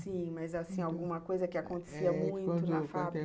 Sim, mas, assim, alguma coisa que acontecia muito na fábrica?